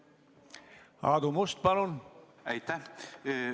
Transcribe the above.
Aitäh!